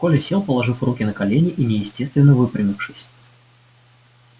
коля сел положив руки на колени и неестественно выпрямившись